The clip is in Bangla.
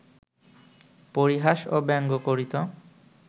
পরিহাস ও ব্যঙ্গ করিত